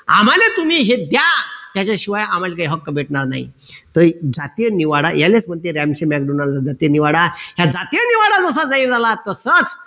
आम्हाले तुम्ही हे द्या त्याच्याशिवाय आम्हाले काही हक्क भेटणार नाही तर जातीय निवाडा यालेच म्हणते जातीय निवाडा हा जातीय निवाडा जसा जाहीर झाला तसाच